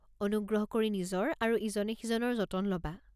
অনুগ্ৰহ কৰি নিজৰ আৰু ইজনে সিজনৰ যতন ল'বা।